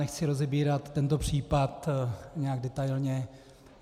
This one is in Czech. Nechci rozebírat tento případ nějak detailně.